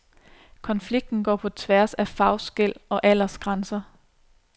Konflikten går på tværs af fagskel og aldersgrænser.